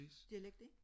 dialekt ikke